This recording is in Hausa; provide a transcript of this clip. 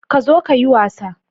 Ka zo ka yi wasa